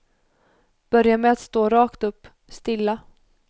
Börja med att stå rakt upp, stilla.